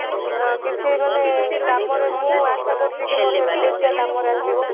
ହଁ କିଛି ମାନେ କାମରେ ମୁଁ ଆଶା କରୁଛି କି ମୋ health tips ଟା କାମରେ ଆସିବ